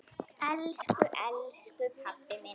Elsku elsku pabbi minn.